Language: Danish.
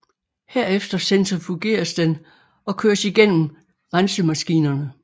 Herefter centrifugeres den og køres igennem rensemaskinerne